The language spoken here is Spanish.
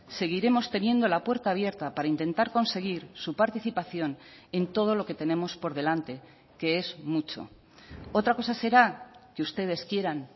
seguiremos teniendo la puerta abierta para intentar conseguir su participación en todo lo que tenemos por delante que es mucho otra cosas será que ustedes quieran